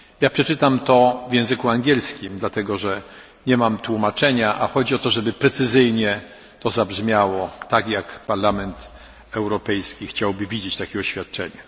Przeczytam ją w języku angielskim, dlatego, że nie mam tłumaczenia, a chodzi o to, żeby zabrzmiało to precyzyjnie tak, jak Parlament Europejski chciałby widzieć takie oświadczenia.